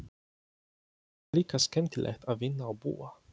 Hér er líka skemmtilegt að vinna og búa.